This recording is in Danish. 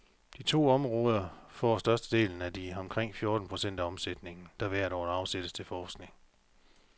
De to områder får størstedelen af de omkring fjorten procent af omsætningen, der hvert år afsættes til forskning.